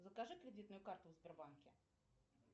закажи кредитную карту в сбербанке